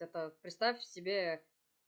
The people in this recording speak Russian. это представь себе